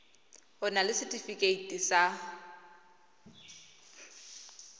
o na le setefikeiti sa